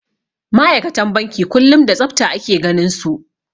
Ma'aikatan banki kullum da tsafta ake ganinsu.